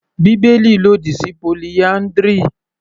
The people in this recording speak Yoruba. Bíbélì lòdì sí polyndry.